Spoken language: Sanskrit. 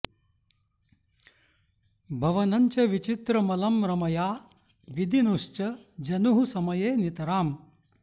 भवनं च विचित्रमलं रमया विदि नुश्च जनुःसमये नितराम्